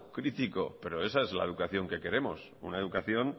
crítico pero esa es la educación que queremos una educación